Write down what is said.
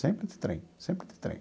Sempre de trem, sempre de trem.